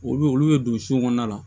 Olu olu bɛ don sukɔnɔna la